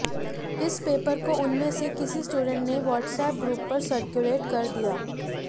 इस पेपर को उनमें से किसी स्टूडेंट ने वॉट्सऐप ग्रुप पर सर्कुलेट कर दिया